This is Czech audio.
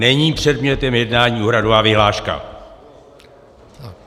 Není předmětem jednání úhradová vyhláška.